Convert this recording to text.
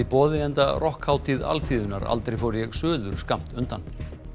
boði enda rokkhátíð alþýðunnar aldrei fór ég suður skammt undan